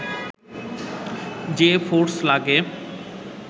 যে ফোর্স লাগে